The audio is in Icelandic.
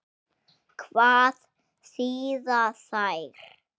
Hvað þýða þær?